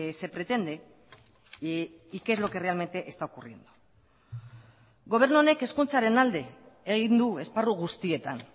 se pretende y qué es lo que realmente está ocurriendo gobernu honek hezkuntzaren alde egin du esparru guztietan